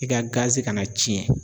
I ka kana tiɲɛ.